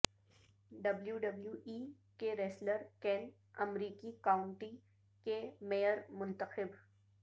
W W E کے wrestler Kane امریکی county کے میئر منتخب